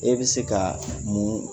E bɛ se ka mun